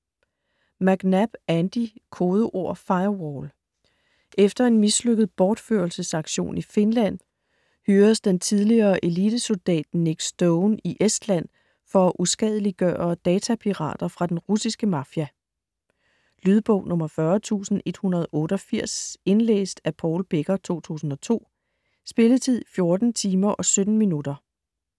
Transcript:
McNab, Andy: Kodeord Firewall Efter en mislykket bortførelsesaktion i Finland hyres den tidligere elitesoldat Nick Stone til i Estland for at uskadeliggøre datapirater fra den russiske mafia. Lydbog 40184 Indlæst af Paul Becker, 2002. Spilletid: 14 timer, 17 minutter.